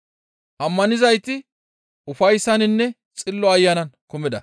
Ammanizayti ufayssaninne Xillo Ayanan kumida.